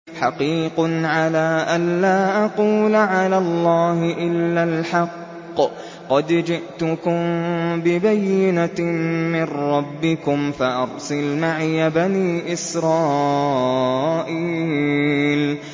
حَقِيقٌ عَلَىٰ أَن لَّا أَقُولَ عَلَى اللَّهِ إِلَّا الْحَقَّ ۚ قَدْ جِئْتُكُم بِبَيِّنَةٍ مِّن رَّبِّكُمْ فَأَرْسِلْ مَعِيَ بَنِي إِسْرَائِيلَ